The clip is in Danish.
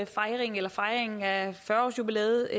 fejringen fejringen af fyrre årsjubilæet